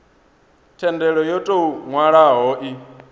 thendelo yo tou nwalwaho i